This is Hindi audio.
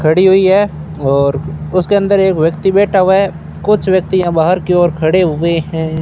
खड़ी हुई है और उसके अंदर एक व्यक्ति बैठा हुआ है कुछ व्यक्ति यहां बाहर की ओर खड़े हुए हैं।